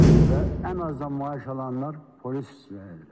Və ən azdan maaş alanlar polis işləyirlər.